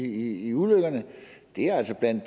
i ulykkerne altså er